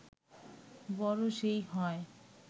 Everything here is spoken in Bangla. বড় সেই হয়